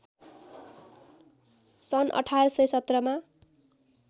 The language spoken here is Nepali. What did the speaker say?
सन् १८१७ मा